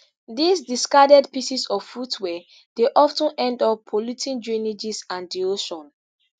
dis discarded pieces of footwear dey of ten end up polluting drainages and di ocean